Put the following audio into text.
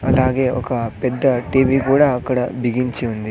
అలాగే ఒక పెద్ద టీవీ గూడా అక్కడ బిగించి ఉంది.